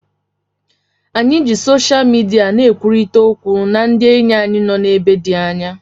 Anyị ji sosha midia na-ekwurịta okwu na ndị enyi anyị nọ n'ebe dị anya